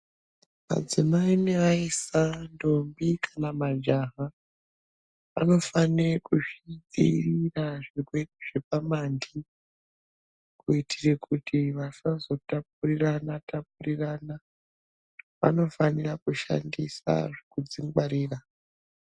Madzimai nevaisa ndombi kana majaha vanofanire kuzvidzivirira kuzvirwere zvepamanti kuitire kuti vasazotapurirana tapurirana. Vanofanire kushandisa zvekudzingwarira.